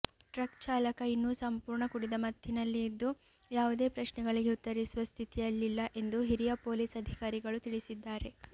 truck ಚಾಲಕ ಇನ್ನೂ ಸಂಪೂರ್ಣ ಕುಡಿದ ಮತ್ತಿನಲ್ಲಿದ್ದು ಯಾವುದೇ ಪ್ರಶ್ನೆಗಳಿಗೆ ಉತ್ತರಿಸುವ ಸ್ಥಿತಿಯಲ್ಲಿಲ್ಲ ಎಂದು ಹಿರಿಯ ಪೊಲೀಸ್ ಅಧಿಕಾರಿಗಳು ತಿಳಿಸಿದ್ದಾರೆ